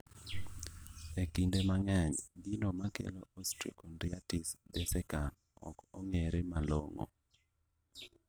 E kinde mang'eny, gino makelo osteochondritis dissecans ok ong'ere malong'o